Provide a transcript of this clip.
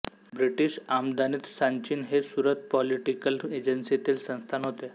British आमदानीत सांचिन हे सुरत पोलिटिकल एजन्सींतील संस्थान होते